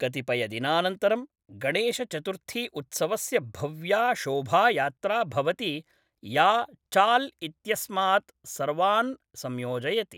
कतिपयदिनानन्तरं गणेशचतुर्थीउत्सवस्य भव्या शोभायात्रा भवति या चाल् इत्यस्मात् सर्वान् संयोजयति।